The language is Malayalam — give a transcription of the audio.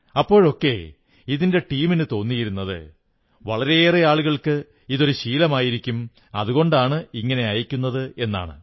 അപ്പോഴൊക്കെ ഇതിന്റെ ടീമിനു തോന്നിയിരുന്നത് വളരെയേറെ ആളുകൾക്ക് ഇതൊരു ശീലമായിരിക്കും അതുകൊണ്ടാണ് ഇങ്ങനെ അയയ്ക്കുന്നത് എന്നാണ്